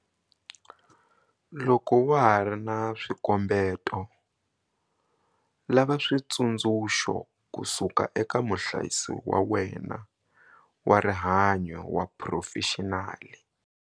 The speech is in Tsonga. Loko wa ha ri na swikombeto, lava switsundzuxo kusuka eka muhlayisi wa wena wa rihanyo wa phurofexinali.